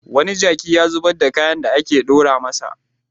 Wani jaki ya zubar da kayan da aka ɗora masa.